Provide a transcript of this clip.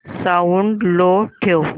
sound low ठेव